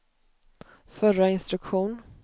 förra instruktion